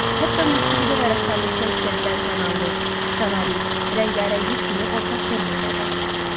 Hətta musiqidə və rəssamlıqda işlədilən kanal, kolorit, rəngarənglik kimi ortaq terminlər də var.